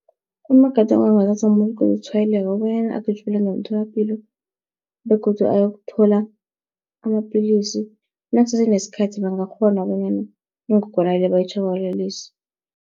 Amagadango angathathwa mumuntu oceda ukutshwayeleka, kobanyana agijimele ngemtholapilo begodu ayokuthola amapilisi, nakusese nesikhathi bangakghona bonyana ingogwana le bayitjhabalalise.